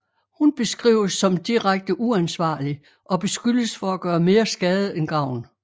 Hun beskrives som direkte uansvarlig og beskyldes for at gøre mere skade end gavn